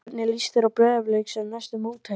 Hvernig líst þér á Breiðablik sem næstu mótherja?